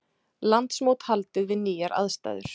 Landsmót haldið við nýjar aðstæður